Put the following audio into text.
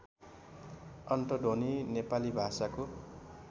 अन्तध्वनि नेपाली भाषाको